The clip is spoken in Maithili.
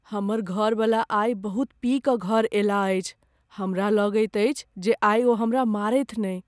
हमर घरबला आइ बहुत पी कऽ घर अयलाह अछि। हमरा लगैत अछि जे आइ ओ हमरा मारथि नहि।